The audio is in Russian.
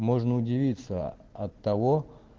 можно удивиться от того